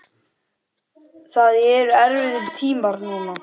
Það eru erfiðir tímar núna.